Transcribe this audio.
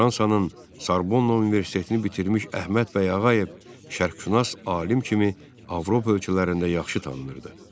Fransanın Sarbonna Universitetini bitirmiş Əhməd bəy Ağayev şərqşünas alim kimi Avropa ölkələrində yaxşı tanınırdı.